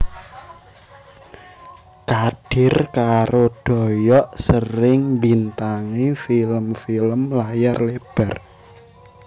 Kadir karo Doyok sering mbintangi film film layar lebar